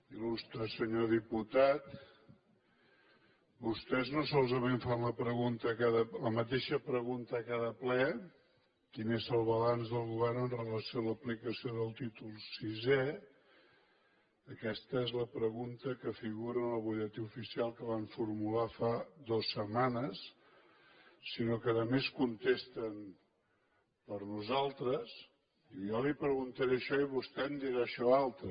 il·lustre senyor diputat vostès no solament fan la mateixa pregunta a cada ple quin és el balanç del govern amb relació a l’aplicació del títol vi aquesta és la pregunta que figura en el butlletí oficial que van formular fa dues setmanes sinó que a més contesten per nosaltres jo li preguntaré això i vostè em dirà això altre